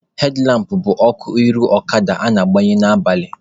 Hedlampụ bụ ọkụ iru ọkada a na-agbanye n'abalị.